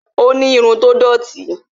ó ni irun tó dòti